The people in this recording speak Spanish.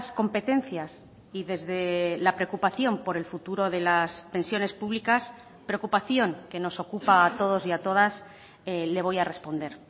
competencias y desde la preocupación por el futuro de las pensiones públicas preocupación que nos ocupa a todos y a todas le voy a responder